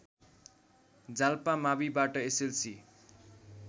जाल्पा माविबाट एसएलसी